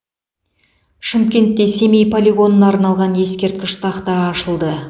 шымкентте семей полигонына арналған ескерткіш тақта ашылды